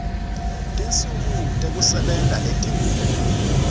tinsuku tekusebenta letingu